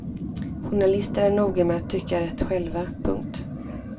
Journalister är noga med att tycka rätt själva. punkt